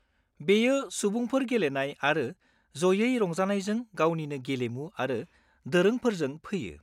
बेयो सुबुंफोर गेलेनाय आरो ज'यै रंजानायजों गावनिनो गेलेमु आरो दोरोंफोरजों फैयो।